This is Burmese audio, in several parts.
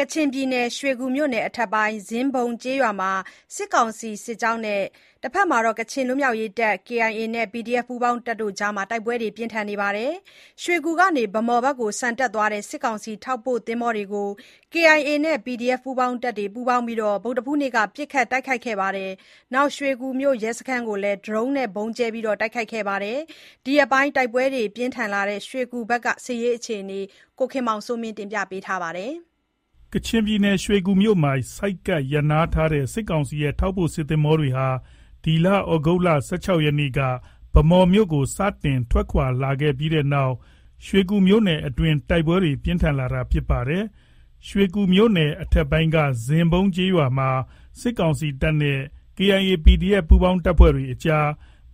ကချင်ပြည်နယ် ရွှေကူမြို့နယ် အထက်ပိုင်း ဇင်းဘုံ ကျေးရွာမှာ စစ်ကောင်စီ စစ်ကြောင်းနဲ့ တဘက်မှာ ကချင်လွတ်မြောက်ရေးတပ် KIA နဲ့ PDF ပူးပေါင်းတပ်တွေအကြား တိုက်ပွဲ ပြင်းထန်နေပါတယ်။ ရွှေကူ ကနေ ဗန်းမော်ဘက်ကို ဆန်တက်သွားတဲ့ စစ်ကောင်စီ ထောက်ပို့သင်္ဘောတွေကို KIA နဲ့ PDF ပူးပေါင်းတပ်တွေက ဗုဒ္ဓဟူးနေ့က ပစ်ခတ်တိုက်ခိုက်ခဲ့ပြီး ရွှေကူမြို့ ရဲစခန်းကိုလည်း ဒရုန်းနဲ့ ဗုံးကြဲ တိုက်ခိုက်ခဲ့ပါတယ်။ ဒီရက်ပိုင်း တိုက်ပွဲ ပြင်းထန်လာနေတဲ့ ရွှေကူမြို့နယ်က အခြေအနေကို ကိုခင်မောင်စိုးမင်း က တင်ပြထားပါတယ်။ ရွှေကူမြို့မှာ ဆိုက်ကပ် ရပ်နားခဲ့တဲ့ စစ်ကောင်စီရဲ့ ထောက်ပို့ စစ်သင်္ဘောတွေဟာ ဒီလ ၁၆ ရက်နေ့က ဗန်းမော်မြို့ကို စတင် ထွက်ခွာလာခဲ့ပြီးတဲ့နောက် ရွှေကူမြို့နယ်အတွင်း တိုက်ပွဲတွေ ပြင်းထန်လာတာဖြစ်ပါတယ်။ ရွှေကူမြို့နယ် အထက်ပိုင်းက ဇင်းဘုံကျေးရွာမှာ စစ်ကောင်စီတပ်နဲ့ KIA၊ PDF ပူးပေါင်းတပ်တွေအကြား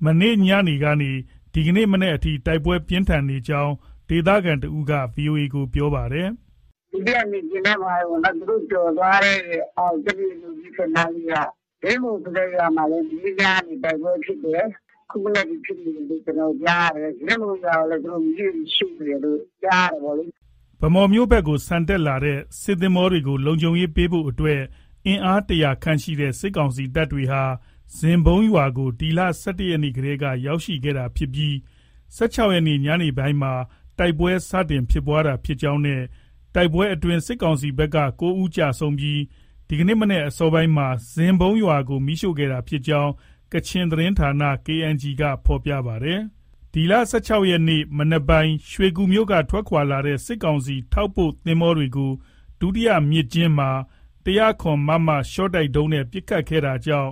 မနေ့ညနေ ကနေ ဒီနေ့မနက်အထိ တိုက်ပွဲ ပြင်းထန်ခဲ့ကြောင်း ဒေသခံတဦးက ဗွီအိုအေကို ပြောပါတယ်။ “ ဒုတိယမြစ်ကျဉ်းထဲမှာပဲပေါ့။ သူတို့ ကျော်သွားတဲ့ အောက် ကြက်တူရွေးနုတ်သီး အထက်နားလေးက ဇင်းဘုံဆိုတဲ့ ရွာမှာ မနေ့ညကနေ တိုက်ပွဲဖြစ်တယ်။ ခုမနက်ထိ ဖြစ်နေတယ်လို့ ကျနော်တို့ ကြားရတယ်။ ဇင်းဘုံရွာကိုလည်း သူတို့ မီးတွေနဲ့ ရှို့နေတယ်လို့ ကြားရတယ်ပေါ့လေ။” ဗန်းမော်ဘက် ဆန်တက်နေတဲ့ စစ်သင်္ဘောတွေကို လုံခြုံရေးပေးဖို့ အတွက် အင်အား ၁၀၀ ခန့်ရှိတဲ့ စစ်ကောင်စီတပ်တွေဟာ ဇင်းဘုံရွာကို ဒီလ ၁၁ ရက်နေ့ ကတည်းက ရောက်ရှိနေတာဖြစ်ပြီး ၁၆ ရက်နေ့ ညနေပိုင်းမှာ တိုက်ပွဲ စတင်ခဲ့တာဖြစ်ကြောင်းနဲ့ တိုက်ပွဲအတွင်း စစ်ကောင်စီ ဘက်က ၉ ဦး ကျဆုံးပြီး ဒီကနေ့ မနက်အစောပိုင်းမှာ ဇင်းဘုံရွာကို မီးရှို့ခဲ့တာဖြစ်ကြောင်း ကချင်သတင်းဌာန KNG က ဖော်ပြပါတယ်။ ဒီလ ၁၆ ရက်နေ့ မနက်ပိုင်း ရွှေကူမြို့က ထွက်ခွာလာတဲ့ စစ်ကောင်စီ ထောက်ပို့ သင်္ဘောတွေကို ဒုတိယမြစ်ကျဉ်းမှာ ၁၀၇ မမ ရှော့တိုက်ဒုံးနဲ့ ပစ်ခတ်ခဲ့တာကြောင့်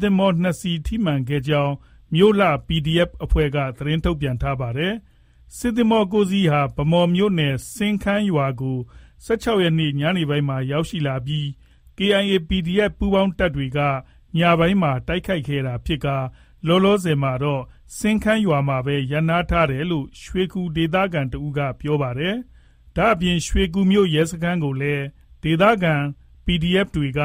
သင်္ဘော ၂ စီး ထိမှန်ခဲ့ကြောင်း မြို့လှ PDF အဖွဲ့က သတင်း ထုတ်ပြန်ပါတယ်။ စစ်သင်္ဘော ၉ စီးဟာ ဗန်းမော်မြို့နယ် စင်းခန်းရွာကို ၁၆ ရက်နေ့ ညနေပိုင်းမှာ ရောက်ရှိလာပြီး KIA၊ PDF ပူးပေါင်းတပ်တွေက ညပိုင်းမှာ တိုက်ခိုက်တာဖြစ်ပြီး လောလောဆည် မှာတော့ စင်းခန်းမှာပဲ ရပ်နားထားတယ်လို့ ရွှေကူဒေသခံက ပြောပါတယ်။ ဒါ့အပြင် ရွှေကူမြို့ ရဲစခန်းကိုလည်း ဒေသခံ PDF တွေက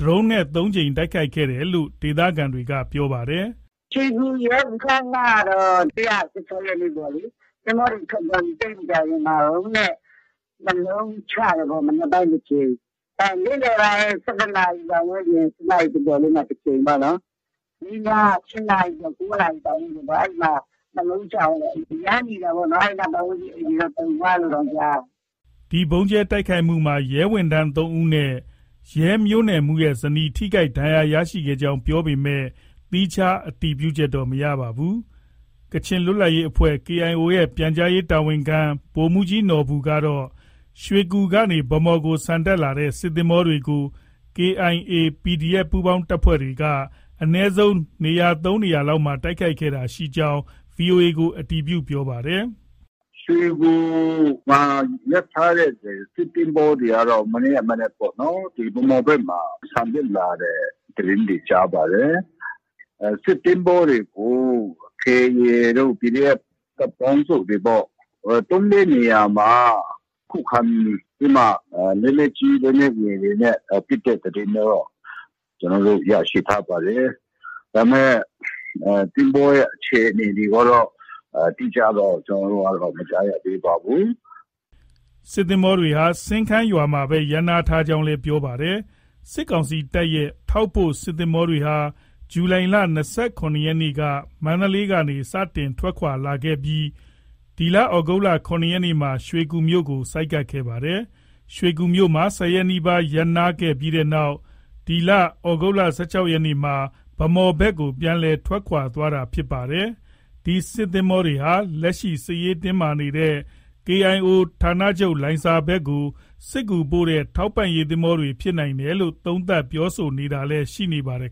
ဒရုန်းနဲ့ ၃ ကြိမ် ဗုံးကြဲ တိုက်ခိုက်ခဲ့တယ်လို့ ဒေသခံက ပြောပါတယ်။ “ရွှေကူရဲစခန်းကတော့ မနေ့က ၁၆ ရက်နေ့ကပေါ့လေ။ သင်္ဘောတွေ ထွက်သွားပြီး သိပ်မကြာခင်မှာ ဒရုန်းနဲ့ ၂ လုံးချတယ်ပေါ့။ မနက်ပိုင်း တစ်ကြိမ်၊ နေ့လည်ပိုင်း ၁၁ နာရီ ပတ်ဝန်းကျင်၊ ၁၁ နာရီ ကျော်ကျော်လေးမှာ တစ်ကြိမ်ပေါ့နော်။ မနေ့ညက ၈ နာရီကျော်၊ ၉ နာရီ ပတ်ဝန်းကျင်ပေါ့။ အဲဒီမှာ ၂ လုံး ချသွားတယ်။ အရမ်းမြည်တာပေါ့နော်။ အဲဒီနား ပတ်ဝန်းကျင်အိမ်တွေတောင် တုန်သွားတယ်လို့ ကြားတယ်။” ဒီဗုံးကြဲတိုက်ခိုက်မှုမှာ ရဲဝန်ထမ်း ၃ ဦးနဲ့ ရဲမြို့နယ်မှူး ဇနီး ထိခိုက်ကြောင်း ပြောပေမဲ့ သီးခြား အတည်ပြုချက်တော့ မရပါဘူး။ ကချင်လွတ်လပ်ရေးအဖွဲ့ KIO ရဲ့ ပြန်ကြားရေးတာဝန်ခံ ဗိုလ်မှုးကြီးနော်ဘူကတော့ ရွှေကူကနေ ဗန်းမော်ကို ဆန်တက်လာတဲ့ စစ်သင်္ဘောတွေကို KIA၊ PDF ပူးပေါင်းတပ်ဖွဲ့တွေက အနည်းဆုံး ၃ နေရာလောက်မှာ တိုက်ခိုက်ခဲ့တာ ရှိကြောင်း ဗွီအိုအေကို အတည်ပြု ပြောပါတယ်။ “ ရွှေကူမှာ ရပ်ထားတဲ့ စစ်သင်္ဘောတွေကတော့ မနေ့က မနက်ပေါ့နော်။ ဗန်းမော်ဘက်မှာ ဆန်တက်လာတဲ့ သတင်းတွေ ကြားပါတယ်။ အဲဒီ စစ်သင်္ဘောတွေကို KIA တို့ ၊ PDF တပ်ပေါင်းစုတွေပေါ့။ သုံး−လေး နေရာမှာ ခုခံပြီးတော့မှ လက်နက်ကြီး၊ လက်နက်ငယ်တွေနဲ့ ပစ်တဲ့သတင်းတော့ ကျနော်တို့ ရရှိထားပါတယ်။ ဒါပေမဲ့ သင်္ဘောရဲ့ အခြေအနေတွေကတော့ အတိအကျတော့ မကြားရသေးပါဘူး။” စစ်သင်္ဘောတွေဟာ စင်းခန်းမှာပဲ ရပ်နားထားကြောင်းလည်း ပြောပါတယ်။ စစ်ကောင်စီတပ်ရဲ့ ထောက်ပို့ စစ်သင်္ဘောတွေဟာ ဇူလိုင်လ ၂၇ ရက်နေ့က မန္တလေးကနေ စတင် ထွက်ခွာခဲ့တာဖြစ်ပြီး သြဂုတ်လ ၇ ရက်နေ့မှာ ရွှေကူမြို့ကို ရောက်ရှိခဲ့တာပါ။ ရွှေကူမြို့မှာ ၁၀ ရက် နီးပါး ရပ်နားခဲ့ပြီးနောက် ဒီလ ၁၆ ရက်နေ့မှာ ဗန်းမော်ဘက်ကို ပြန်လည် ထွက်ခွာတာလည်း ဖြစ်ပါတယ်။ ဒီစစ်သင်္ဘောတွေဟာ လက်ရှိ စစ်ရေး တင်းမာနေတဲ့ KIO ဌာနချုပ်လိုင်ဇာဘက်ကို စစ်ကူပို့လွှတ်တဲ့ ထောက်ပံရေး သင်္ဘောတွေ ဖြစ်နိုင်တယ်လို့ သုံးသပ် ပြောဆိုတာတွေလည်း ရှိနေပါတယ်